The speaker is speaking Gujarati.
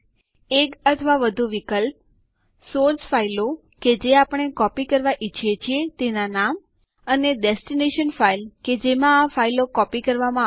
સુડો આદેશ ની મદદથી આપણે કોઇપણ યુઝર નું એકાઉન્ટ ઉમેરી શકીએ છીએ